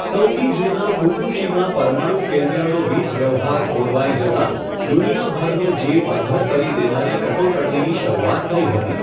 સૌથી જુના ફુકુશીમા પરમાણુ કેન્દ્રનો વીજ વ્યવહાર ખોરવાઈ જતા, દુનિયાભરનો જીવ અધ્ધર કરી દેનારી કટોકટીની શરૂઆત થઈ હતી.